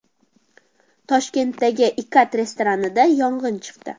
Toshkentdagi Ikat restoranida yong‘in chiqdi .